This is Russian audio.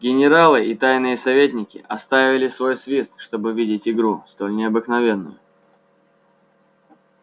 генералы и тайные советники оставили свой свист чтоб видеть игру столь необыкновенную